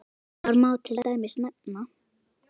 Þar má til dæmis nefna